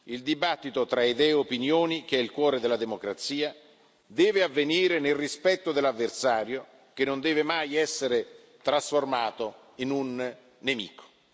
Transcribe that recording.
Il dibattito tra idee e opinioni, che è il cuore della democrazia, deve avvenire nel rispetto dell'avversario, che non deve mai essere trasformato in un nemico.